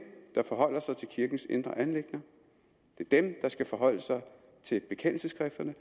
der forholder sig til kirkens indre anliggender det er dem der skal forholde sig til bekendelsesskrifterne